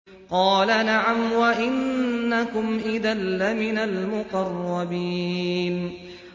قَالَ نَعَمْ وَإِنَّكُمْ إِذًا لَّمِنَ الْمُقَرَّبِينَ